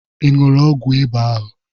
Ị ṅụụrụ ọgwụ ịba ahụ?